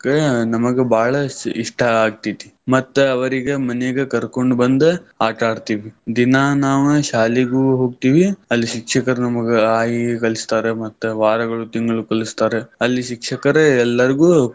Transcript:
ನಮಗ ಬಾಳ ಇಷ್ಟಾ ಆಕ್ತೈತಿ. ಮತ್ ಅವ್ರಿಗ್ ಮನಿಗ ಕರ್ಕೊಂಡ್ ಬಂದ್ ಆಟಾ ಆಡ್ತೀವಿ. ದಿನಾ ನಾವ್ ಶಾಲಿಗೂ ಹೋಗ್ತಿವಿ ಅಲ್ಲಿ ಶಿಕ್ಷಕರ್ ನಮಗ ಅ ಆ ಇ ಈ ಕಲಿಸ್ತಾರೆ ಮತ್ತ್ ವಾರಗಳು, ತಿಂಗಳು ಕಲಿಸ್ತಾರೆ, ಅಲ್ಲಿ ಶಿಕ್ಷಕರೇ ಎಲ್ಲಾರ್ಗು.